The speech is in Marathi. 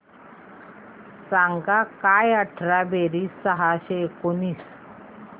सांग काय अठरा बेरीज सहाशे एकोणीस